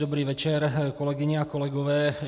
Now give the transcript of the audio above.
Dobrý večer, kolegyně a kolegové.